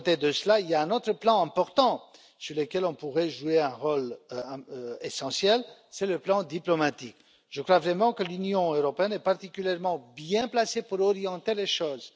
Cependant, il y a un autre plan important sur lequel on pourrait jouer un rôle essentiel c'est le plan diplomatique. Je crois vraiment que l'Union européenne est particulièrement bien placée pour orienter les choses.